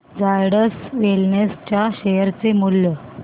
Zydus wellness च्या share चे मूल्य